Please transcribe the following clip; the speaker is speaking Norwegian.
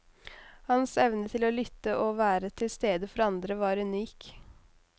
Hans evne til å lytte og være til stede for andre var unik.